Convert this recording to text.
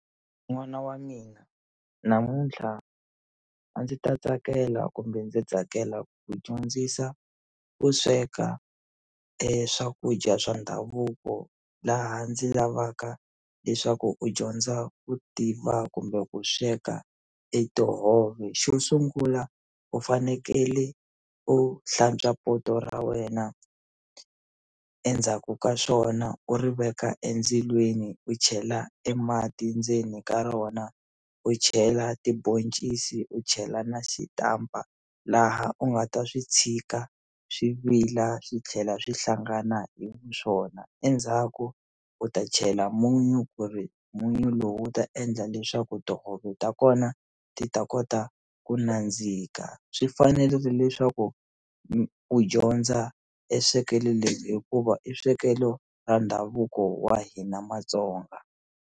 N'wana wa mina namuntlha a ndzi ta tsakela kumbe ndzi tsakela ku dyondzisa ku sweka swakudya swa ndhavuko laha ndzi lavaka leswaku u dyondza ku tiva kumbe ku sweka e tihove xo sungula u fanekele u hlantswa poto ra wena endzhaku ka swona u ri veka endzilweni u chela e mati ndzeni ka rona u chela tiboncisi u chela na xitampa laha u nga ta swi tshika swi vila swi tlhela swi hlangana hi vu swona endzhaku u ta chela munyu ku ri munyu lowu wu ta endla leswaku tihove ta kona ti ta kota ku nandzika swi fanerile leswaku u dyondza e swkelo leri hikuva i swekelo ra ndhavuko wa hina Matsonga.